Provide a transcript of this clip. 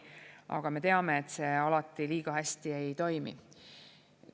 Aga me teame, et see alati liiga hästi ei toimi.